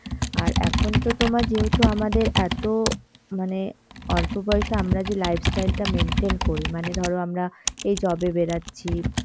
আর এখন তো তোমার যেহেতু আমাদের এত মানে অল্প বয়সে আমরা যে lifestyle টা maintain করি মানে ধরো আমরা এই job এ বেরোচ্ছি